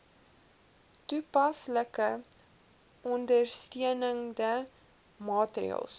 toepaslike ondersteunende maatreëls